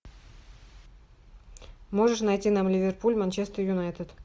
можешь найти нам ливерпуль манчестер юнайтед